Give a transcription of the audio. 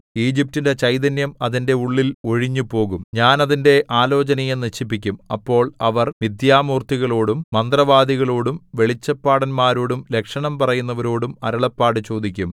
ഈജിപ്റ്റിന്റെ ചൈതന്യം അതിന്റെ ഉള്ളിൽ ഒഴിഞ്ഞുപോകും ഞാൻ അതിന്റെ ആലോചനയെ നശിപ്പിക്കും അപ്പോൾ അവർ മിഥ്യാമൂർത്തികളോടും മന്ത്രവാദികളോടും വെളിച്ചപ്പാടന്മാരോടും ലക്ഷണം പറയുന്നവരോടും അരുളപ്പാട് ചോദിക്കും